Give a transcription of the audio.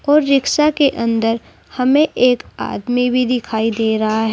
और रिक्शा के अंदर हमें एक आदमी भी दिखाई दे रहा है।